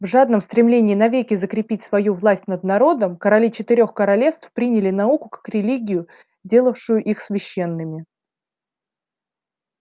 в жадном стремлении навеки закрепить свою власть над народом короли четырёх королевств приняли науку как религию делавшую их священными